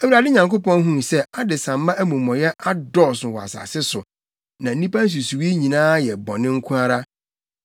Awurade Nyankopɔn huu sɛ adesamma amumɔyɛ adɔɔso wɔ asase so, na nnipa nsusuwii nyinaa yɛ bɔne nko ara.